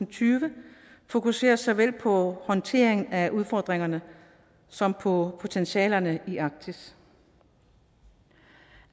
tyve fokuserer såvel på håndtering af udfordringerne som på potentialerne i arktis